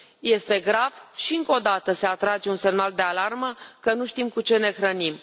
Este grav și încă o dată se trage un semnal de alarmă că nu știm cu ce ne hrănim.